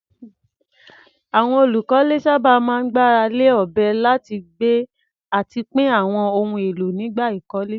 Àwọn olùkọ́lé sábà máa ń gbára lé ọ̀bẹ láti gbé àti pín àwọn ohun èlò nígbà ìkọ́lé.